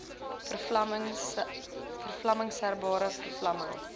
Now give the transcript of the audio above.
verlamming serebrale verlamming